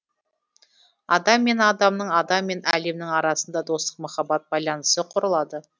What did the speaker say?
адам мен адамның адам мен әлемнің арасында достық махаббат байланысы құрылады